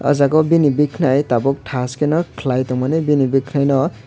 aw jaaga o bini khanai tabuk thas ke nw khwlai tongmani bini khanai nw.